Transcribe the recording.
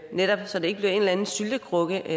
netop så det ikke bliver en eller anden syltekrukke i